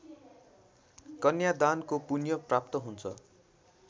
कन्यादानको पुण्यप्राप्त हुन्छ